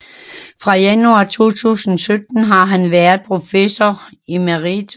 Fra januar 2017 har han været professor emeritus